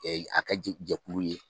a kɛ jɛ jɛkulu ye.